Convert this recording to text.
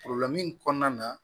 kɔnɔna na